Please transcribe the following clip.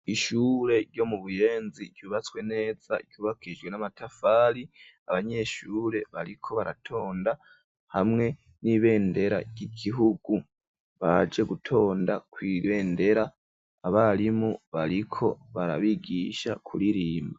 Ishure ryo mu Buyenzi ryubatswe neza ryubakishijwe n'amatafari abanyeshure bariko baratonda hamwe n'ibendera ry'igihugu baje gutonda ku'irendera abarimu bariko barabigisha kuririmba.